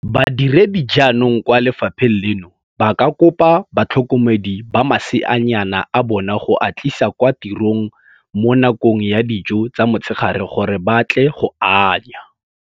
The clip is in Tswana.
Badiredi jaanong kwa le fapheng leno ba ka kopa batlhokomedi ba maseanyana a bona go a tlisa kwa tirong mo nakong ya dijo tsa motshegare gore ba tle go anya.